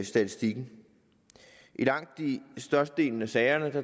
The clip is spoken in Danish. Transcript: statistikken i langt størstedelen af sagerne